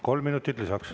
Kolm minutit lisaks.